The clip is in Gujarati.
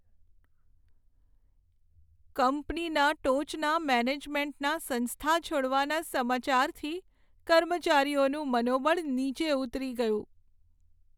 કંપનીના ટોચના મેનેજમેન્ટના સંસ્થા છોડવાના સમાચારથી કર્મચારીઓનું મનોબળ નીચે ઉતરી ગયું.